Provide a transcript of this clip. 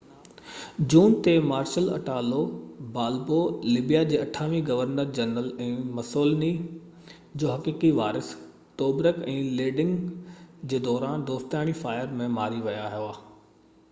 28 June تي Marshal Italo Balbo Libya جو governor general ۽ Mussolini جو حقيقي وارث توبرڪ ۾ لينڊگ جي دوران دوستاڻي فائير ۾ مري ويا هئا